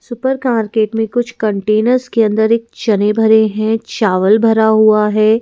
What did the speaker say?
Super कार्केट में कुछ containers के अंदर एक चने भरे हैं चावल भरा हुआ है।